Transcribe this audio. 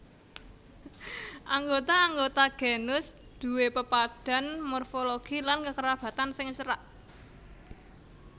Anggota anggota genus duwé pepadhan morfologi lan kekerabatan sing cerak